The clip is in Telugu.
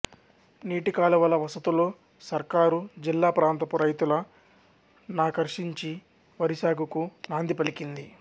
నీటి కాలువల వసతులు సర్కారుజిల్లాప్రాంతపు రైతుల నాకర్షించి వరిసాగుకు నాంది పలికింది